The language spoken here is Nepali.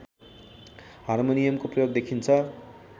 हार्मोनियमको प्रयोग देखिन्छ